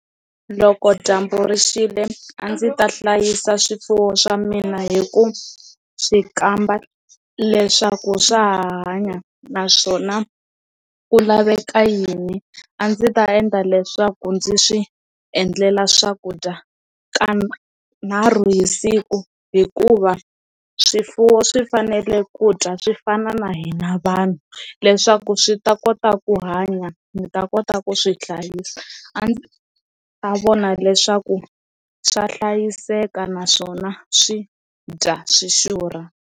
Loko dyambu rixile a ndzi ta hlayisa swifuwo swa mina hi ku swi kamba leswaku swa hanya naswona ku laveka yini a ndzi ta endla leswaku ndzi swi endlela swakudya kanharhu hi siku hikuva swifuwo swi fanele ku dya swi fana na hina vanhu leswaku swi ta kota ku hanya ndzi ta kota ku swi hlayisa a ndzi ta vona leswaku swa hlayiseka naswona swi dya swi xurha.